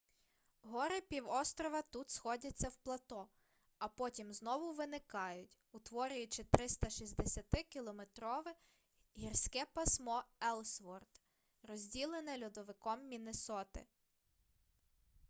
гори півострова тут сходяться в плато а потім знову виникають утворюючи 360-кілометрове гірське пасмо еллсворт розділене льодовиком міннесоти